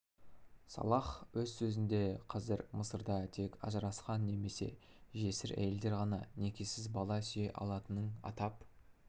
салах өз сөзінде қазір мысырда тек ажырасқан немесе жесір әйелдер ғана некеіз бала сүйе алатынын атап